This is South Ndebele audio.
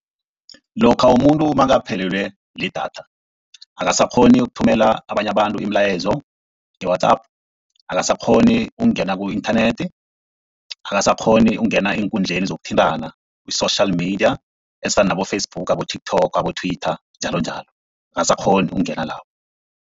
Lokha umuntu nakaphelelwe lidatha akasakghoni ukuthumela abanye abantu imilayezo nge-WhatsApp, akasakghoni ukungena ku-inthanethi, akasakghoni ukungena eenkundleni zokuthintana i-social media ezifana nabo-Facebook, abo-TikTok, abo-Twitter njalonjalo akasakghoni ukungena lapho.